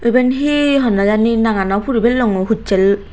eben hi honney jani nangano puri pellongoi hussel.